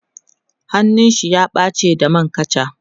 hannun shi ya ɓace da man kacha